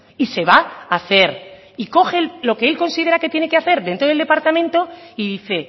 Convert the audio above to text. y se va a hacer y coge lo que él considera que tiene que hacer dentro del departamento y dice